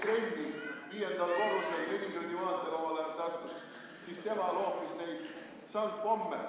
Omal ajal Tartus üks mees, kes tegi trenni viiendal korrusel Leningradi maantee ühiselamus, loopis niisuguseid sangpomme.